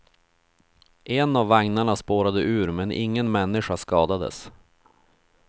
En av vagnarna spårade ur men ingen människa skadades.